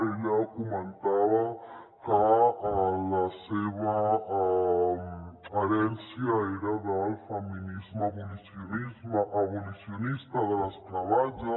ella comentava que la seva herència era del feminisme abolicionista de l’esclavatge